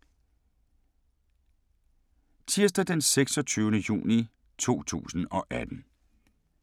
Tirsdag d. 26. juni 2018